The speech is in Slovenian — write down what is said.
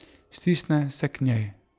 Stisne se k njej.